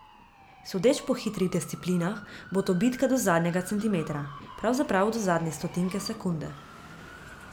Sodeč po hitrih disciplinah bo to bitka do zadnjega centimetra, pravzaprav do zadnje stotinke sekunde.